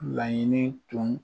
Laɲini tun